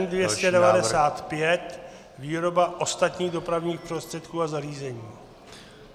N295 - výroba ostatních dopravních prostředků a zařízení.